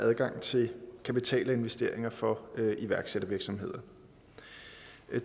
adgang til kapital og investeringer for iværksættervirksomheder